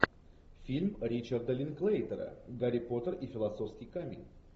фильм ричарда линклейтера гарри поттер и философский камень